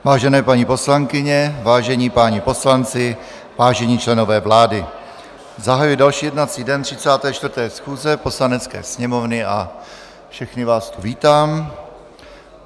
Vážené paní poslankyně, vážení páni poslanci, vážení členové vlády, zahajuji další jednací den 34. schůze Poslanecké sněmovny a všechny vás tu vítám.